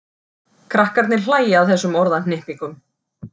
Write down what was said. Krakkarnir hlæja að þessum orðahnippingum.